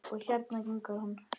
Og hérna gengur hann.